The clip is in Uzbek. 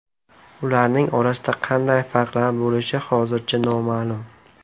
Ularning orasida qanday farqlar bo‘lishi hozircha noma’lum.